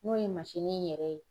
N'o ye in yɛrɛ ye.